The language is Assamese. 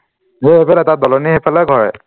মোৰ এইফালে তাৰ দলনিৰ এইফালেই ঘৰেই